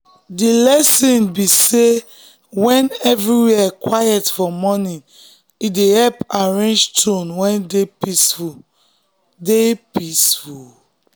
the lesson be sey when everywhere quiet for morning e dey help arrange tone wey dey peaceful. dey peaceful.